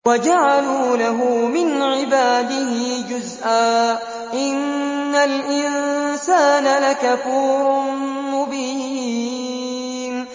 وَجَعَلُوا لَهُ مِنْ عِبَادِهِ جُزْءًا ۚ إِنَّ الْإِنسَانَ لَكَفُورٌ مُّبِينٌ